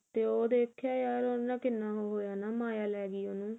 ਤੇ ਉਹ ਦੇਖਿਆ ਹੈ ਯਾਰ ਉਹਨਾਂ ਕਿੰਨਾ ਉਹ ਹੋਇਆ ਨਾ ਮਾਇਆ ਲੈਗੀ ਉਹਨੂੰ